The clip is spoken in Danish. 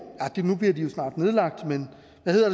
nu bliver de jo snart nedlagt men